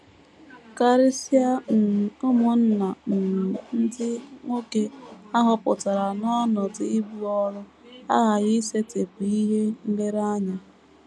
Karịsịa um ụmụnna um ndị nwoke a họpụtara n’ọnọdụ ibu ọrụ aghaghị isetịpụ ihe um nlereanya.